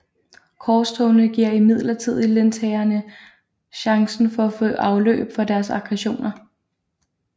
Korstogene giver imidlertid lensherrerne chancen for at få afløb for deres aggressioner